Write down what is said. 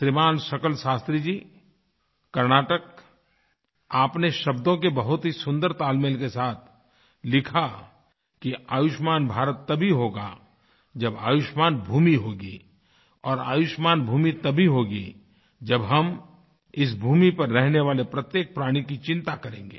श्रीमान शकल शास्त्री जी कर्नाटक आपने शब्दों के बहुत ही सुन्दर तालमेल के साथ लिखा कि आयुष्मान भारत तभी होगा जब आयुष्मान भूमि होगी और आयुष्मान भूमि तभी होगी जब हम इस भूमि पर रहने वाले प्रत्येक प्राणी की चिंता करेंगे